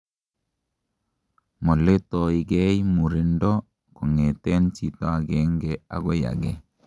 moletoigei murindo kongeten chito agengei agoi agei